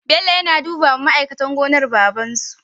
Bello na duba ma aikatan gonar babansu